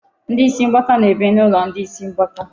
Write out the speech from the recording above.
Ndị isi mgbaka na-ebi n'ụlọ ndị isi mgbaka.